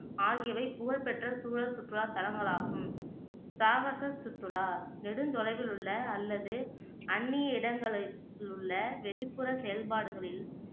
ஆகியவை புகழ்பெற்ற சூழல் சுற்றுலாதலங்களாகும். சாகச சுற்றுலா நெடுந்தொலைவில் உள்ள அல்லது அந்நிய உள்ள வெளிப்புற செயல்பாடுகளில்